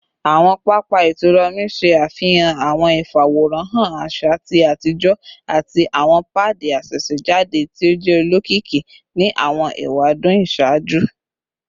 Awọn papa itura omi ṣe afihan awọn ifaworanhan aṣa ti atijọ ati awọn paadi asesejade ti o jẹ olokiki ni awọn ewadun iṣaaju